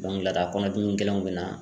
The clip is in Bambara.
ladakɔnɔdimi gɛlɛnw bɛ na